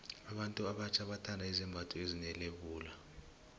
abantu abatjha bathanda izembatho ezine lebula